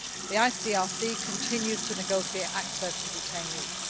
The ICRC continues to negotiate access to detainees.